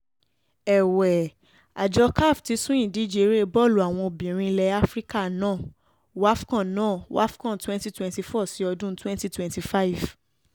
è̩wé̩ àjọ caf ti sún ìdíje eré̩ bọ́ọ̀lù àwọn obìnrin ilẹ̀ áfíríkà náà wafco̩n náà wafco̩n 2024 sí ọdún 2025